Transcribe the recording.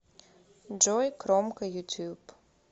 джой кромка ютюб